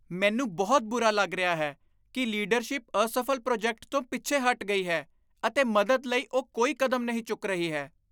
ਮੈਨੂੰ ਬਹੁਤ ਬੁਰਾ ਲੱਗ ਰਿਹਾ ਹੈ ਕਿ ਲੀਡਰਸ਼ਿਪ ਅਸਫ਼ਲ ਪ੍ਰੋਜੈਕਟ ਤੋਂ ਪਿੱਛੇ ਹਟ ਗਈ ਹੈ ਅਤੇ ਮਦਦ ਲਈ ਉਹ ਕੋਈ ਕਦਮ ਨਹੀਂ ਚੁੱਕ ਰਹੀ ਹੈ।